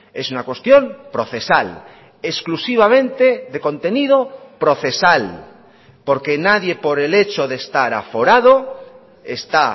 es una cuestión procesal exclusivamente de contenido procesal porque nadie por el hecho de estar aforado está